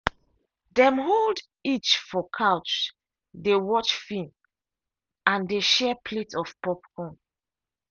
dem hold each for couch dey watch film and dey share plate of popcorn.